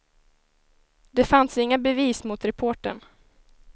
Det fanns inga bevis mot reportern.